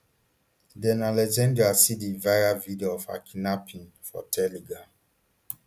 den alexandra see di viral video of her kidnapping for telegram